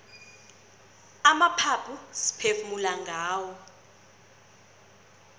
amaphaphu siphefumula ngawo